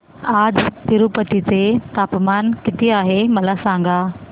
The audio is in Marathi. आज तिरूपती चे तापमान किती आहे मला सांगा